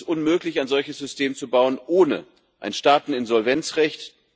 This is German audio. Deswegen ist es unmöglich, ein solches System zu bauen ohne ein Staateninsolvenzrecht.